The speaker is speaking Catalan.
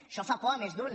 això fa por a més d’un